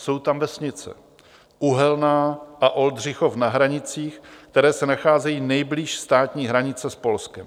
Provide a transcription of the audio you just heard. Jsou tam vesnice Uhelná a Oldřichov na hranicích, které se nacházejí nejblíž státní hranice s Polskem.